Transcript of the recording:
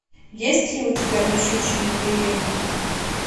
есть ли у тебя по щучьему велению